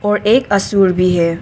और एक असुर भी है।